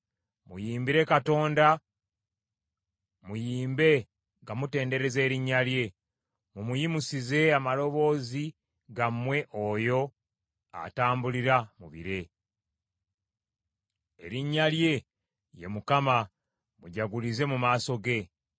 Muyimbire Katonda, muyimbe nga mutendereza erinnya lye; mumuyimusize amaloboozi gammwe oyo atambulira mu bire. Erinnya lye ye Mukama , mujagulize mu maaso ge.